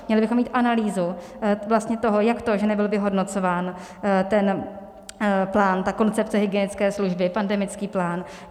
Měli bychom mít analýzu vlastně toho, jak to, že nebyl vyhodnocován ten plán, ta koncepce hygienické služby, pandemický plán.